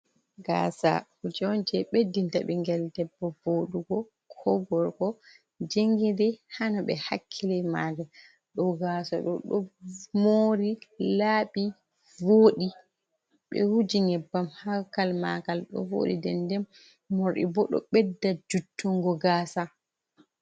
"Gasa" kuje je beddinta bingel debbo vodugo ko gorgo jongiri hano be hakkilina maka ɗo gasa ɗo ɗo mori labbi voɗi ɓe wuji nyebbam hakal magal ɗo voɗi dende mori bo do bedda juttungo gasa.